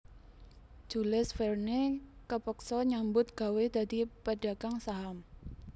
Jules Verne kepeksa nyambut gawé dadi pedagang saham